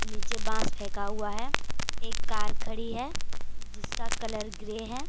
नीचे बांस फेंका हुआ है एक कार खड़ी है जिसका कलर ग्रे है।